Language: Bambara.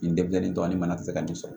Nin debilen tɔ ni bana tɛ se ka nin sɔrɔ